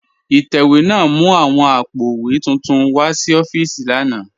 Itẹwẹ̀ náà mú awọn àpó̩wé túntún wa sí òfììsì lànà